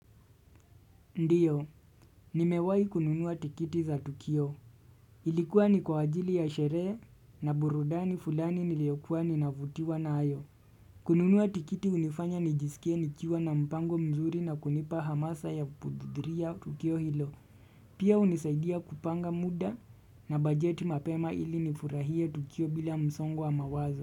Ndio, nimewai kununua tikiti za Tukio. Ilikuwa ni kwa ajili ya sherehe na burudani fulani niliyokuwa ninavutiwa nayo. Kununua tikiti unifanya nijisikie nikiwa na mpango mzuri na kunipa hamasa ya kuudhuria Tukio hilo. Pia unisaidia kupanga muda na bajeti mapema ili nifurahie Tukio bila msongo mawazo.